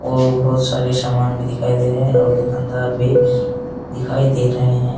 ओ बहुत सारे सामान दिखाइ दे रहे हैं और दुकानदार भी दिखाई दे रहे हैं।